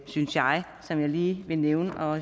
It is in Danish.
synes jeg som jeg lige vil nævne for